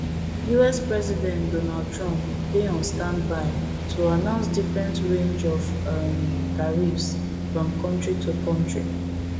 us president donald trump dey on standby to announce different range of um tariffs from kontri to kontri